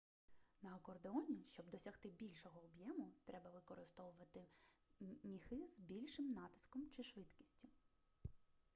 на акордеоні щоб досягти більшого об'єму треба використовувати міхи з більшим натиском чи швидкістю